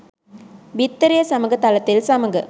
බිත්තරය සමග තලතෙල් සමග